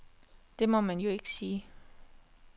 Det må man jo ikke sige.